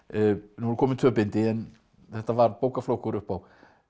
nú eru komin tvö bindi en þetta var bókaflokkur upp á